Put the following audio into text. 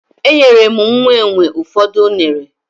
Enyere m nwa enwe ụfọdụ unere